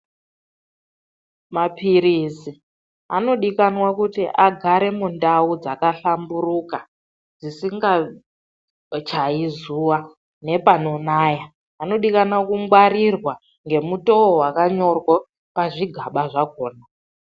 Maphirisi anodikanwa kuti agare mundau dzakahlamburuka, dzisingachayi zuva nepanonaya. Anodikanwa kungwarirwa ngemutoo wakanyorwa pazvigaba zvakona.